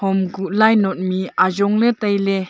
hom kuh lai not mih ajong ley tai ley.